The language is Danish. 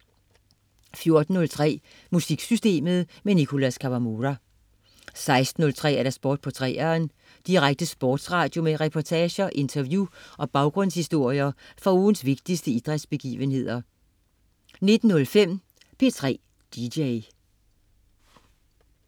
14.03 MusikSystemet. Nicholas Kawamura 16.03 Sport på 3'eren. Direkte sportsradio med reportager, interview og baggrundshistorier fra ugens vigtigste idrætsbegivenheder 19.03 P3 dj